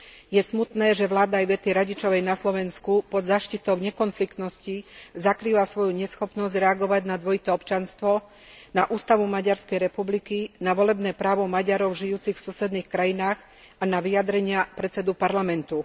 Je smutné, že vláda Ivety Radičovej na Slovensku pod záštitou nekonfliktnosti zakrýva svoju neschopnosť reagovať na dvojité občianstvo, na ústavu Maďarskej republiky, na volebné právo Maďarov žijúcich v susedných krajinách a na vyjadrenia predsedu Parlamentu.